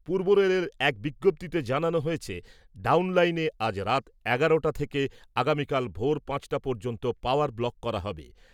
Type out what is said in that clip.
পূর্ব রেলের এক বিজ্ঞপ্তিতে জানানো হয়েছে , ডাউন লাইনে আজ রাত এগারোটা থেকে আগামীকাল ভোর পাঁচটা পর্যন্ত পাওয়ার ব্লক করা হবে ।